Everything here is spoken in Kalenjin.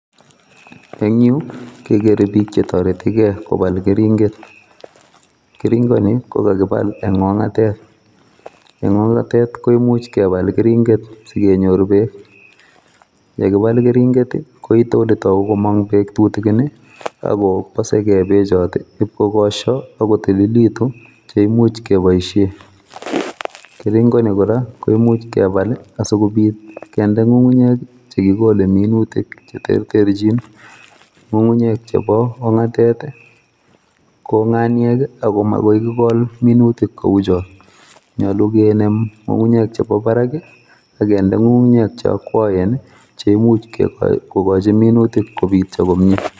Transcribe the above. En yu kekere bik chetoretigee kebole keringet, keringoni kokakobal en ongatet en, ongatet koimuch kebal keringet sigenyor beek ,yekibal keringet koito komong beek chetutukin ii agobosee kee bechoton ipkowoswo ak kotililitun cheimuch keboisien, keringoni koraa keimuch kebal asikobit kinde ngungunyek chekikole minutik cheterterjin ngungunyek chebo ongatet kokaniek ii ako makoi kigol minutik kouchon , nyolu kinem ngungunyek chebo barak ii ak kinde ngungunyek che okwoen cheimuch kogochi minutik kobitio komie.